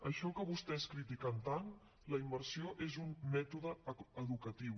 això que vostès critiquen tant la immersió és un mètode educatiu